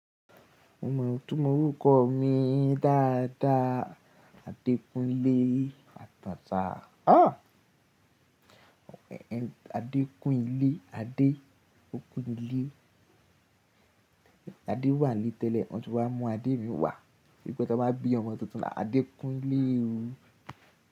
Mo mọ̀ itunmo orúkọ mi dáadáa. Adékúnlé Àtàtà. Adékúnlé, Adé ó kún ilé. Adé wà nílé tẹ́lẹ̀, wón tun wá mú Adé mi wá. Bí i pé tó bá bí ọmọ tuntun ahhadékúnlé o.